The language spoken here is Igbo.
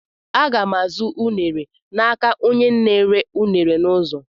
Àga m azụ m unere n'aka onyenna-ere unere n'ụzọ.